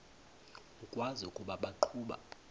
ukwazi ukuba baqhuba